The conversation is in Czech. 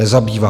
Nezabývá!